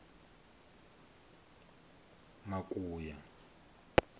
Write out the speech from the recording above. makuya